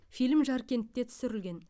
фильм жаркентте түсірілген